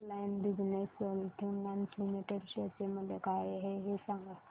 frontline business solutions limited share चे मूल्य काय आहे हे सांगा